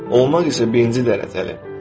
Olmaq isə birinci dərəcəli.